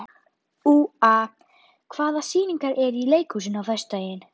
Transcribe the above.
Úa, hvaða sýningar eru í leikhúsinu á föstudaginn?